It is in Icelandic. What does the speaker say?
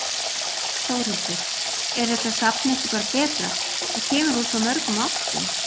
Þórhildur: Er þetta safn ekki bara betra, það kemur úr svo mörgum áttum?